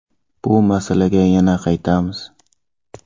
Bu masalaga yana qaytamiz”.